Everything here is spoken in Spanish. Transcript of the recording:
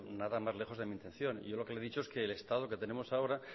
nada más lejos de mi intención yo lo que le he dicho es que el estado que tenemos ahora